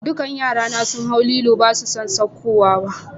Dukan yra na sun hau lilon' ba su so saukowa ba.